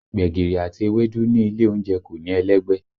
Gbẹ̀gìrì àti ewédú ní ilé oúnjẹ kò ní ẹlẹ́gbẹ́